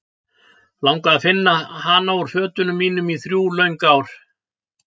Langaði að finna hana úr fötunum mínum í þrjú löng ár.